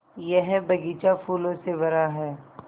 यह बग़ीचा फूलों से भरा है